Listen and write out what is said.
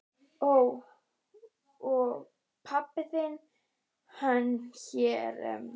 Ó. Og pabbi þinn, hann er hér?